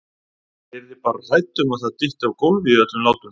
Ég yrði bara hrædd um að það dytti á gólfið í öllum látunum!